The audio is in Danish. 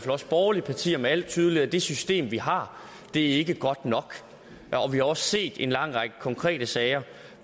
os borgerlige partier med al tydelighed at det system vi har ikke er godt nok vi har også set en lang række konkrete sager